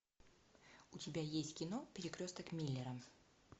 у тебя есть кино перекресток миллера